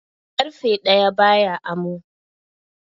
Ƙarfe ɗaya ba ya amo.